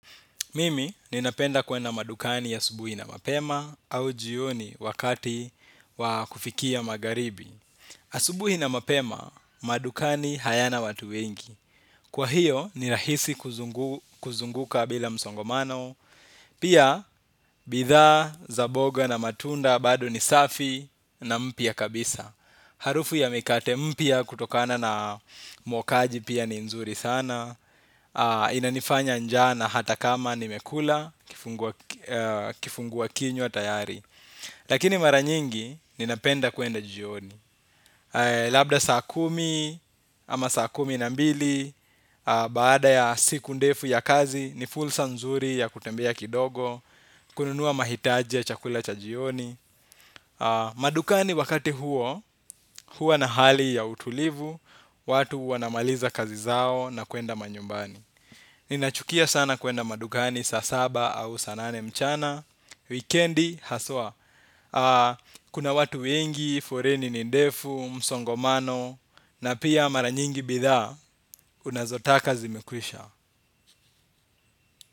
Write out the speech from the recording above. Mimi, ninapenda kwenda madukani asubuhi na mapema au jioni wakati wa kufikia magharibi. Asubuhi na mapema, madukani hayana watu wengi. Kwa hiyo, ni rahisi kuzunguka bila msongomano. Pia, bidhaa za mboga na matunda, bado ni safi na mpya kabisa. Harufu ya mikate mpya kutokana na mwokaji pia ni nzuri sana. Inanifanya njaa na hata kama nimekula kifungua kinywa tayari. Lakini mara nyingi ninapenda kuenda jioni. Labda saa kumi ama saa kumi na mbili. Baada ya siku ndefu ya kazi ni fursa nzuri ya kutembea kidogo. Kununua mahitaji ya chakula cha jioni. Madukani wakati huo huwa na hali ya utulivu, watu wanamaliza kazi zao na kuenda manyumbani. Ninachukia sana kuenda madukani saa saba au saa nane mchana. Wikendi haswa kuna watu wengi, foleni ni ndefu, msongomano na pia mara nyingi bidhaa unazotaka zimekwisha.